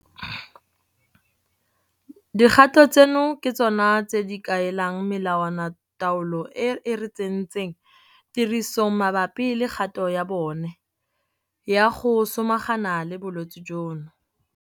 Dikgato tseno ke tsona tse di kaelang melawanataolo e re e tsentseng tirisong mabapi le kgato ya bone ya go samagana le bolwetse jono.